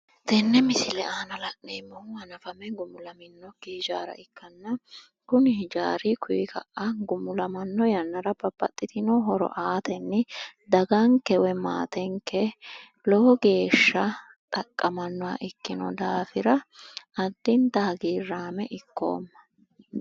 Tenne misile aana la'neemmohu hanafame gumulaminnokki ijaara ikkanna kuni ijaara kuyi ka'a gumulamanno yannara babbaxxituno horo aatenni daganke woyi maatenke lowo geeshsha xaqqamannoha ikkino daafira addinta hagiirraame ikkoomma.